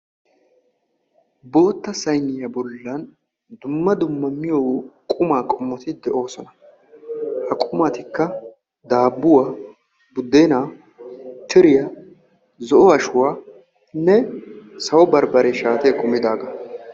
Bootta sayiniya bollan dumma dumma miyo qumaa qommoti de'oosona. Ha qumatikka daabbuwa, buddeenaa, tiriya, zo"o ashuwanne sawo barbbaree shaatiya kumidaagaa.